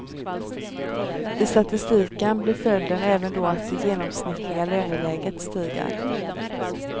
I statistiken blir följden även då att det genomsnittliga löneläget stiger.